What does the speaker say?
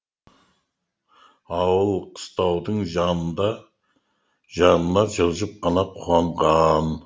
ауыл қыстаудың жанына жылжып қана қонған